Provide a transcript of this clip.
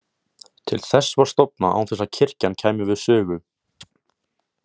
Til þess var stofnað án þess að kirkjan kæmi við sögu.